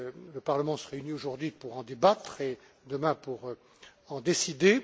Le Parlement se réunit aujourd'hui pour en débattre et demain pour en décider.